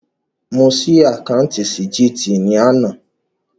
Mo ṣí àkáùntì sí GTB ní àná